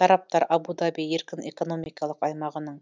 тараптар абу даби еркін экономикалық аймағының